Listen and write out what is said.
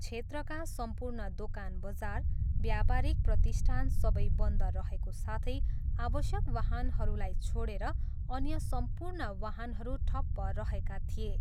क्षेत्रका सम्पूर्ण दोकान बजार, व्यापारिक प्रतिष्ठान सबै बन्द रहेको साथै आवश्यक वाहनहरूलाई छोडेर अन्य सम्पूर्ण वाहनहरू ठप्प रहेका थिए।